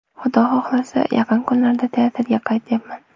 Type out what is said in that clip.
Xudo xohlasa, yaqin kunlarda teatrga qaytyapman.